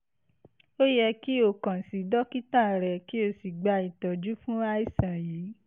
ó yẹ kí o kàn sí dókítà rẹ kí o sì gba ìtọ́jú fún àìsàn yìí